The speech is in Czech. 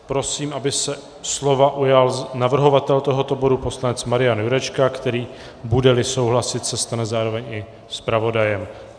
Prosím, aby se slova ujal navrhovatel tohoto bodu poslanec Marian Jurečka, který, bude-li souhlasit, se stane zároveň i zpravodajem.